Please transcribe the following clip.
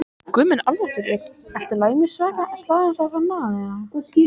Björgunarsveitir sækja slasaðan mann